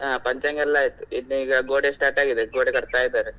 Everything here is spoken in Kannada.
ಹಾ ಪಂಚಾಂಗ ಎಲ್ಲ ಆಯ್ತು ಇನ್ನು ಈಗ ಗೋಡೆ start ಆಗಿದೆ ಗೋಡೆ ಕಟ್ಟಾತ ಇದಾರೆ.